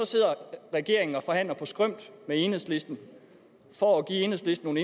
sidder regeringen og forhandler på skrømt med enhedslisten for at give enhedslisten